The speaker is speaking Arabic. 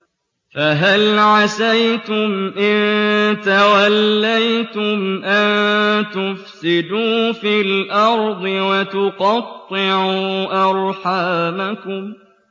فَهَلْ عَسَيْتُمْ إِن تَوَلَّيْتُمْ أَن تُفْسِدُوا فِي الْأَرْضِ وَتُقَطِّعُوا أَرْحَامَكُمْ